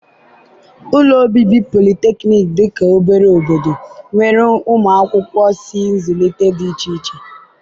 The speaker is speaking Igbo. ụlọ obibi polytechnic dị ka obere obodo, nwere ụmụ akwụkwọ si nzụlite dị iche iche